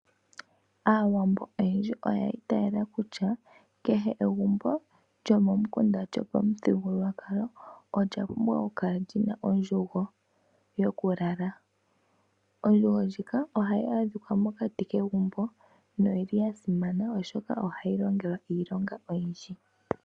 Aawambo oyendji oya itayela kutya kehe egumbo lyomomukunda lyopamuthigululwakalo olya pumbwa oku kala lyi na ondjugo yokulala. Ondjugo ndjika ohayi adhika mokati kegumbo noyili ya simana oshoka ohayi longelwa iilonga oyindji.